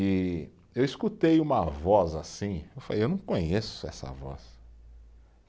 E eu escutei uma voz assim, eu falei, eu não conheço essa voz.